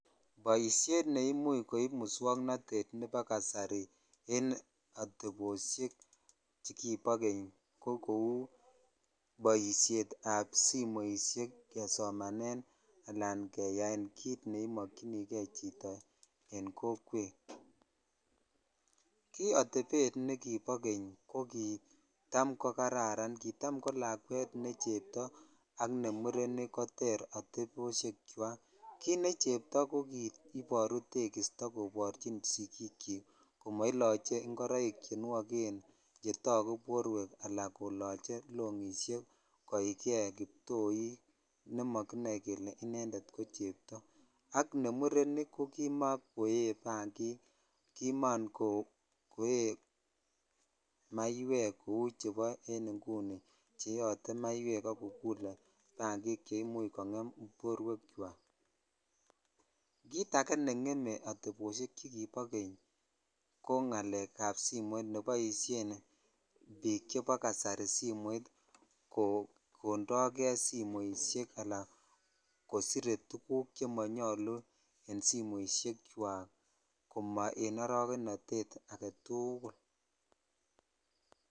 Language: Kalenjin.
Boishet ne imuch koib muswoknotet nebo kasari en ateposhek chekubo keny ko kou boishet kesomanen ala kenyaan kit nemoche chitoen kokwet ki atapet nekipo kenye ko kitam ko kararan kitam ko lakwet ne cheboo ak nemureil koteter koter atebo ki necheptoo ko kiboruu tekisto komoiloche ingorok che nuogen chetaku borwek ala koloche longishek koikei kiptoik nemokinoe kele inended ko chebto ak ne murenik ko kimokoye bangik kinam koe maaiwek kou chebo inguni che yeuote maiwek ak. Kokullote bngumik che imuch kongem bowek chwak kit ake ne ngeme ateposhek chekibo keny ko ngalek ab simot neboishen biik chebo kasari sumoitt kondajei simoshek ala kosire tuguk che monyolu en simoshek chwakk ko ma en arokenotet aagetukul.